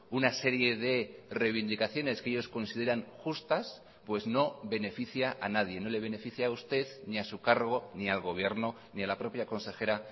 una serie de reivindicaciones que ellos consideran justas pues no beneficia a nadie no le beneficia a usted ni a su cargo ni al gobierno ni a la propia consejera